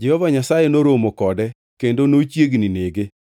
Jehova Nyasaye noromo kode kendo nochiegni nege.